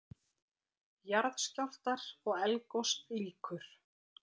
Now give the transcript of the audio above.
JARÐSKJÁLFTAR OG ELDGOS LÝKUR